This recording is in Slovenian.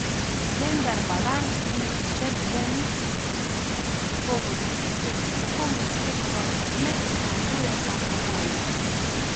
Vendar Balant in Šebenik po ugotovitvi strokovne službe ne izpolnjujeta pogojev.